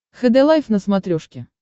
хд лайф на смотрешке